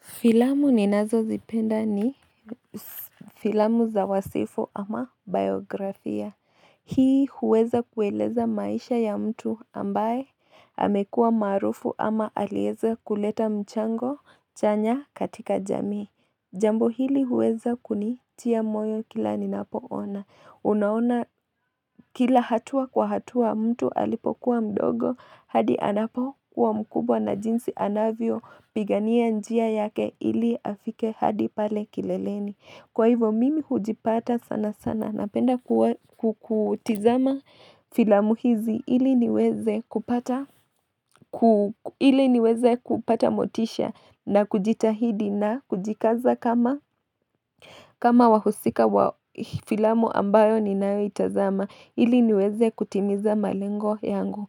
Filamu ninazozipenda ni filamu za wasifu ama bayografia. Hii huweza kueleza maisha ya mtu ambaye amekua maarufu ama alieza kuleta mchango chanya katika jamii. Jambo hili huweza kunitia moyo kila ninapo ona. Unaona kila hatua kwa hatua mtu alipokuwa mdogo hadi anapo kwa mkubwa na jinsi anavyo pigania njia yake ili afike hadi pale kileleni Kwa hivyo mimi hujipata sana sana napenda ku kutizama filamu hizi ili niweze kupa ili niweze kupata motisha na kujitahidi na kujikaza kama kama wahusika wa filamu ambayo ninayoitazama ili niweze kutimiza malengo yangu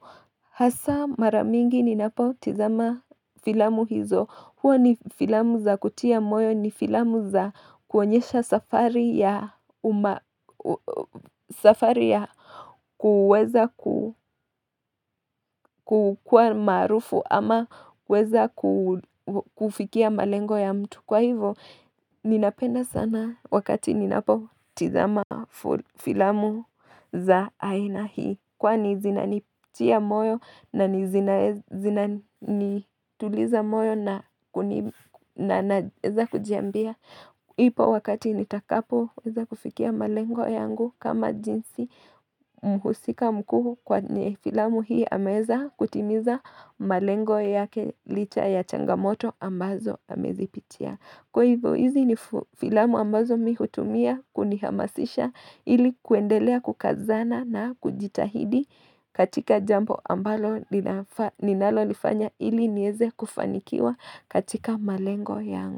Hasa maramingi ninapo tizama filamu hizo huwa ni filamu za kutia moyo ni filamu za kuonyesha safari ya safari ya kuweza ku kukuwa maarufu ama kuweza ku kufikia malengo ya mtu Kwa hivo, ninapenda sana wakati ninapo tizama filamu za aina hii Kwani zinanitia moyo na ni zinanituliza moyo na kunifu Naeza kujiambia. Ipo wakati nitakapoweza kufikia malengo yangu kama jinsi mhusika mkuu kwenye filamu hii ameweza kutimiza malengo yake licha ya changamoto ambazo amezipitia. Kwa hivyo hizi ni filamu ambazo mi hutumia kunihamasisha ili kuendelea kukazana na kujitahidi katika jambo ambalo ninalo lifanya ili nieze kufanikiwa katika malengo yangu.